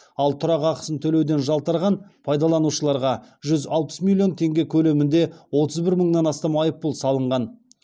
ал тұрақ ақысын төлеуден жалтарған пайдаланушыларға жүз алпыс миллион теңге көлемінде отыз бір мыңнан астам айыппұл салынған